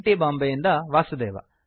T Bombay ಯಿಂದ ವಾಸುದೇವ